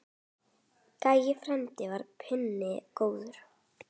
Gæi frændi var penni góður.